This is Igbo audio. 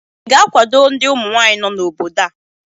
ị ga-akwado ndị ụmụnwanyị nọ n'obodo a?